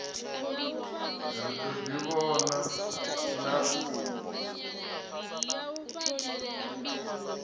ri ḓo ḓi vhonana na